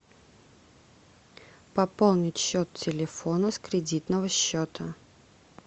пополнить счет телефона с кредитного счета